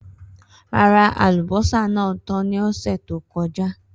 Rara, alubosa naa tan ni ọsẹ to kọja.